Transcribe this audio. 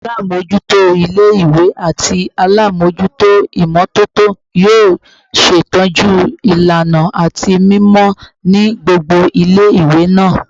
Alamojuto ile-iwe ati alamojuto imototo yoo ṣetọju ilana ati mimọ ni gbogbo ile-iwe naa